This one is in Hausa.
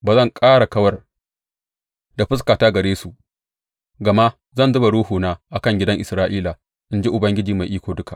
Ba zan ƙara kawar da fuskata daga gare su, gama zan zuba Ruhuna a kan gidan Isra’ila, in ji Ubangiji Mai Iko Duka.